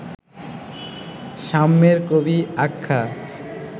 সাম্যের কবি আখ্যা